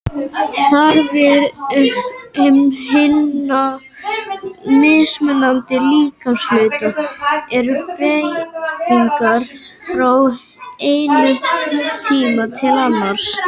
Þarfir hinna mismunandi líkamshluta eru breytilegar frá einum tíma til annars.